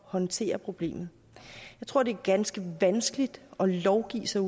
håndtere problemet jeg tror det er ganske vanskeligt at lovgive sig